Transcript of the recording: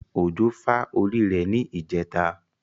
Ojo fà orí rẹ̀ ní ijẹtà.